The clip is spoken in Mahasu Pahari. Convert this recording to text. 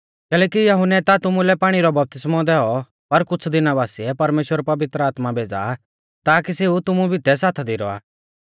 कैलैकि यहुन्नै ता तुमुलै पाणी रौ बपतिस्मौ दैऔ पर कुछ़ दिना बासिऐ परमेश्‍वर पवित्र आत्मा भेज़ा आ ताकी सेऊ तुमु भितै साथा दी रौआ